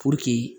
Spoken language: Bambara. Puruke